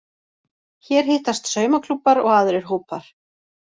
Hér hittast saumaklúbbar og aðrir hópar